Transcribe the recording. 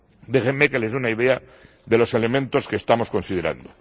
Déjenme que les dé una idea de los elementos que estamos considerando.